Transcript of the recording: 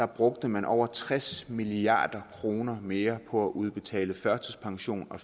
brugte man over tres milliard kroner mere på at udbetale førtidspension og